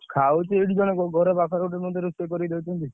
ଖାଉଛି ଏଇଠି ଜଣେ ଘରେ ପାଖରେ ଗୋଟେ ରୋଷେଇ କରିକି ମତେ ଦଉଛନ୍ତି।